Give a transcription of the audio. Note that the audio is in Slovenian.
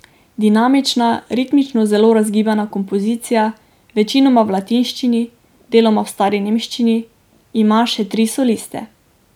Dinamična, ritmično zelo razgibana kompozicija, večinoma v latinščini, deloma v stari nemščini, ima še tri soliste.